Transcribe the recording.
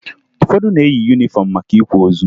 Ụfọdụ na-eyi yunifọmụ maka ịkwa ozu